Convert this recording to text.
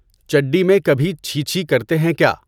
چڈی میں کبھی چھی چھی کرتے ہیں کیا؟